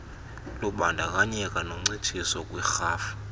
lubandakanye noncitshiso kwiirhafu